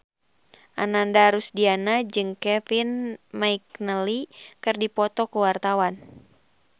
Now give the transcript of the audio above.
Ananda Rusdiana jeung Kevin McNally keur dipoto ku wartawan